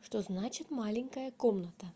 что значит маленькая комната